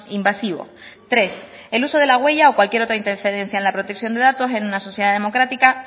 invasivo tres el uso de la huella o cualquier otra interferencia en la protección de datos en una sociedad democrática